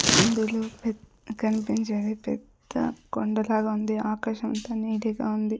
ఇందులో పెద్ కనిపించేది పెద్ద కొండ లాగ ఉంది ఆకాశం అంత నీలి గా ఉంది.